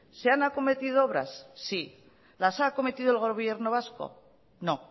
se han acometido obras sí las ha acometido el gobierno vasco no